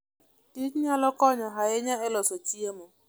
kich nyalo konyo ahinya e loso chiemo.